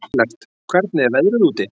Ellert, hvernig er veðrið úti?